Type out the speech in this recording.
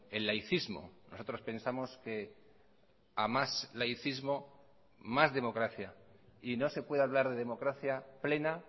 el laicismo nosotros pensamos que a más laicismo más democracia y no se puede hablar de democracia plena